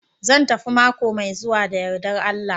Zan tafi mako mai zuwa da yardar Allah